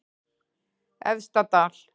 Efstadal